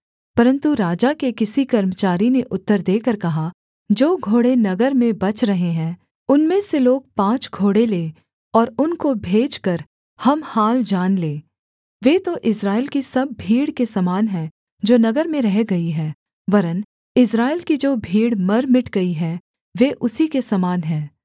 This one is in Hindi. परन्तु राजा के किसी कर्मचारी ने उत्तर देकर कहा जो घोड़े नगर में बच रहे हैं उनमें से लोग पाँच घोड़े लें और उनको भेजकर हम हाल जान लें वे तो इस्राएल की सब भीड़ के समान हैं जो नगर में रह गई है वरन् इस्राएल की जो भीड़ मर मिट गई है वे उसी के समान हैं